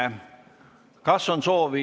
Ei näe soovi.